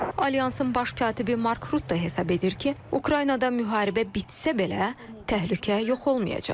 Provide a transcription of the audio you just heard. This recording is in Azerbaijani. Alyansın baş katibi Mark Rutte hesab edir ki, Ukraynada müharibə bitsə belə, təhlükə yox olmayacaq.